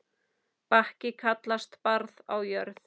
Bakki kallast barð á jörð.